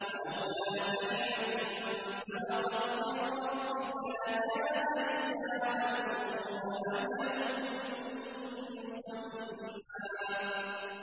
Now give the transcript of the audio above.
وَلَوْلَا كَلِمَةٌ سَبَقَتْ مِن رَّبِّكَ لَكَانَ لِزَامًا وَأَجَلٌ مُّسَمًّى